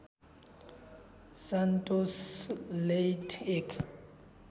Santos लेइट एक